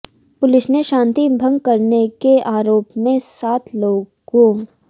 police ने शांति भंग करने के आरोप में सात लोगों